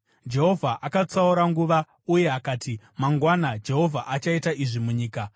Jehovha akatsaura nguva uye akati, “Mangwana Jehovha achaita izvi munyika.”